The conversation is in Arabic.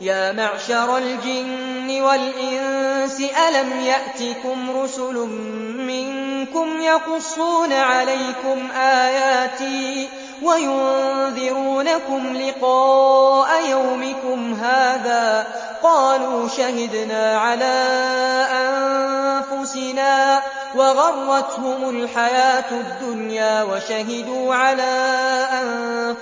يَا مَعْشَرَ الْجِنِّ وَالْإِنسِ أَلَمْ يَأْتِكُمْ رُسُلٌ مِّنكُمْ يَقُصُّونَ عَلَيْكُمْ آيَاتِي وَيُنذِرُونَكُمْ لِقَاءَ يَوْمِكُمْ هَٰذَا ۚ قَالُوا شَهِدْنَا عَلَىٰ أَنفُسِنَا ۖ وَغَرَّتْهُمُ الْحَيَاةُ الدُّنْيَا وَشَهِدُوا عَلَىٰ